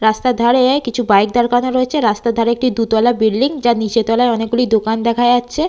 রাস্তার ধারে কিছু বাইক দাঁড় করানো রয়েছে। রাস্তার ধারে একটি দুতলা বিল্ডিং যার নিচের তলায় অনেকগুলি দোকান দেখা যাচ্ছে।